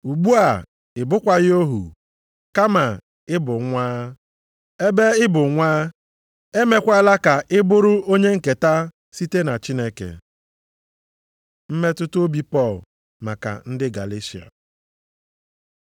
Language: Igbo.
Ugbu a, ị bụkwaghị ohu, kama ị bụ nwa. Ebe ị bụ nwa, e meekwala ka ị bụrụ onye nketa site na Chineke. Mmetụta obi Pọl maka ndị Galeshịa